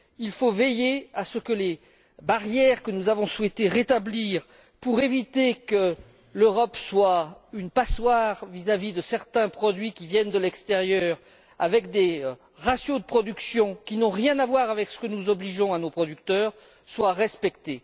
Il faut veiller à ce que les barrières que nous avons souhaité rétablir pour éviter que l'Europe soit une passoire vis à vis de certains produits qui viennent de l'extérieur, avec des ratios de production qui n'ont rien à voir avec ceux que nous imposons à nos producteurs soient respectées.